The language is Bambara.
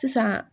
Sisan